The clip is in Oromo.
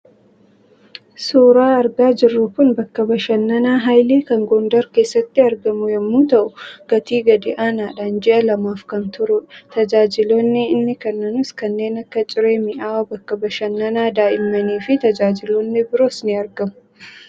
Suuraan argaa jirru kun bakka bashannanaa Haayilee kan Gondar keessatti argamu yemmuu ta'u, gatii gadi aanaadhaan ji'a lamaaf kan turudha. Tajaajiloonni inni kennus kanneen akka; Ciree mi'aawaa, bakka bashannanaa daa'immanii fi tajaajiloonni biroonis ni argamu.